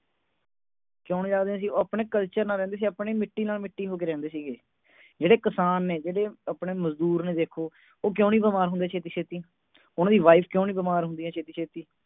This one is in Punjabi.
ਚੋਣੇ ਜਾਪਦੇ ਸੀਗੇ ਉਹ ਆਪਣੇ culture ਦੇ ਨਾਲ ਰਹਿੰਦੇ ਸੀਗੇ ਆਪਣੀ ਮਿੱਟੀ ਦੇ ਨਾਲ ਮਿੱਟੀ ਹੋ ਕੇ ਰਹਿੰਦੇ ਸੀਗੇ ਜਿਹੜੇ ਕਿਸਾਨ ਨੇ ਜਿਹੜੇ ਮਜ਼ਦੂਰ ਨੇ ਦੇਖੋ ਉਹ ਕਿਉਂ ਨਹੀਂ ਬਿਮਾਰ ਹੁੰਦੇ ਛੇਤੀ-ਛੇਤੀ ਉਨ੍ਹਾਂ ਦੀ wife ਕਿਉਂ ਨਹੀਂ ਬਿਮਾਰ ਹੁੰਦੀਆਂ ਛੇਤੀ ਛੇਤੀ